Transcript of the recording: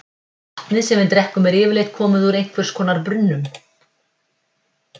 Vatnið sem við drekkum er yfirleitt komið úr einhvers konar brunnum.